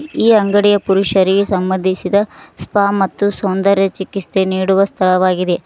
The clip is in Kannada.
ಈ ಅಂಗಡಿಯ ಪುರುಷರಿಗೆ ಸಂಬಂಧಿಸಿದ ಸ್ಪ ಮತ್ತು ಸೌಂದರ್ಯ ಚಿಕಿತ್ಸೆ ನೀಡುವ ಸ್ಥಳವಾಗಿದೆ.